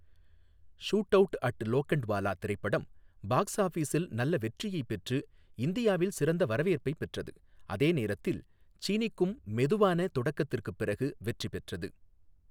Shoot out at Lokhandwala திரைப்படம் box ஆஃபிஸில் நல்ல வெற்றியைப் பெற்று இந்தியாவில் சிறந்த வரவேற்பைப் பெற்றது, அதே நேரத்தில் சீனி கும் மெதுவான தொடக்கத்திற்குப் பிறகு வெற்றி பெற்றது.